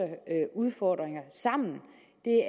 udfordringer sammen